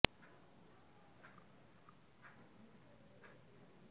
নজিরবিহীন হাজিরায় চন্দননগরের একটি ইংরেজি মাধ্যম স্কুল তাদের সদ্যপ্রাক্তন ছাত্রী অনুষ্কা সাবুইকে